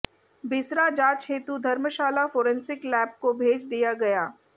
बिसरा जांच हेतु धर्मशाला फोरेसिंक लैब को भेज दिया गया